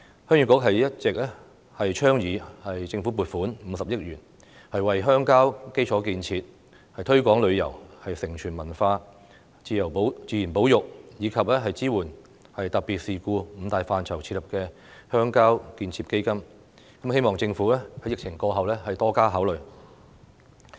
鄉議局一直倡議政府撥款50億元設立鄉郊建設基金，為鄉郊基礎建設、推廣旅遊、承傳文化、自然保育，以及支援特別事故這五大範疇提供撥款，希望政府在疫情過後對此多加考慮。